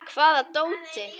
Hvaða dóti?